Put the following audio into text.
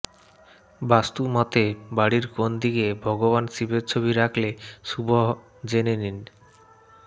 বাস্তু মতে বাড়ির কোন দিকে ভগবান শিবের ছবি রাখলে শুভ জেনে নিন